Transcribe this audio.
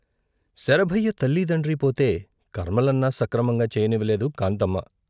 శరభయ్య తల్లీ దండ్రీ పోతే కర్మలన్నా సక్రమంగా చేయనివ్వలేదు కాంతమ్మ.